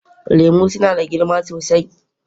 Lemu suna da girma sosai